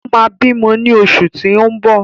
O máa bímọ ní bí oṣù tí ó ń bọ̀.